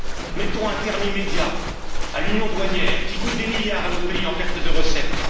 Mettons un terme immédiat à l'union douanière qui coûte des milliards à nos pays en perte de recettes.